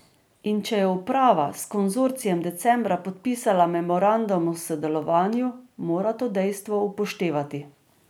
In če je uprava s konzorcijem decembra podpisala memorandum o sodelovanju, mora to dejstvo upoštevati.